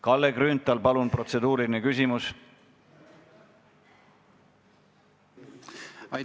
Kalle Grünthal, palun protseduuriline küsimus!